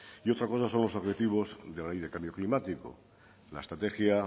y otra cosa son los objetivos de la ley de cambio climático la estrategia